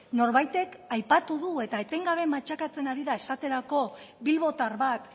norbaitek aipatu du eta etengabe matxakatzen ari da esaterako bilbotar bat